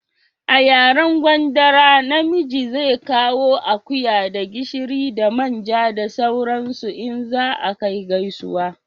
A yaren gwandara na miji zai kawo akuya da gishiri da manja da sauran su in za a kai gaisuwa